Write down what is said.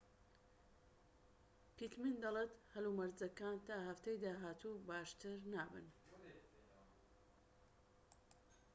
پیتمن دەڵێت هەلومەرجەکان تا هەفتەی داهاتوو باشتر نابن